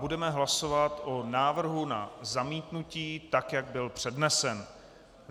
Budeme hlasovat o návrhu na zamítnutí, tak jak byl přednesen.